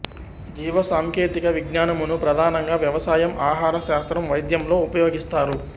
జీవసాంకేతిక విజ్ఞానమును ప్రధానంగా వ్యవసాయం ఆహార శాస్త్రం వైద్యంలో ఉపయోగిస్తారు